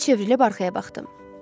Yerimdə çevrilib arxaya baxdım.